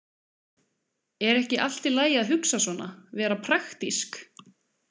Er ekki allt í lagi að hugsa svona, vera praktísk?